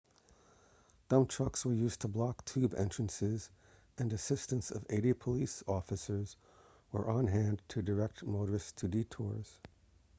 dump trucks were used to block tube entrances and assistance of 80 police were on hand to direct motorists to detours